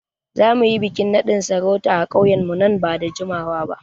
Za mu yi bikin nadin sarauta a ƙauyenmu nan ba da jimawa ba.